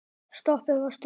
Stoppið var stutt.